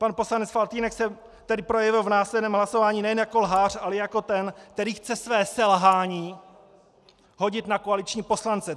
Pan poslanec Faltýnek se tedy projevil v následném hlasování nejen jako lhář, ale i jako ten, který chce své selhání hodit na koaliční poslance.